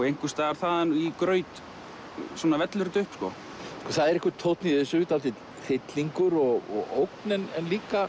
einhvers staðar þaðan í graut svona vellur þetta upp það er einhver tónn í þessu dálítill hryllingur og ógn en líka